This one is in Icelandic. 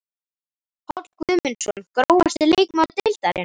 Páll Guðmundsson Grófasti leikmaður deildarinnar?